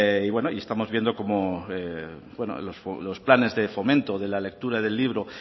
y bueno estamos viendo cómo los planes de fomento de la lectura del libro